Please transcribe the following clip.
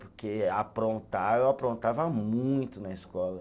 Porque aprontar, eu aprontava muito na escola.